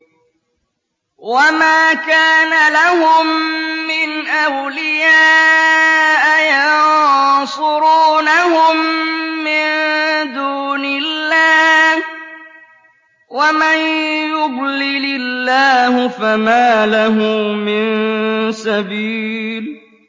وَمَا كَانَ لَهُم مِّنْ أَوْلِيَاءَ يَنصُرُونَهُم مِّن دُونِ اللَّهِ ۗ وَمَن يُضْلِلِ اللَّهُ فَمَا لَهُ مِن سَبِيلٍ